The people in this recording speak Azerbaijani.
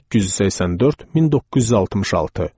1884-1966.